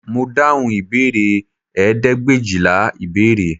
Mo dáhùn ìbéèrè ẹ̀ẹ́dẹ́gbẹ̀éjìlá ìbéèrè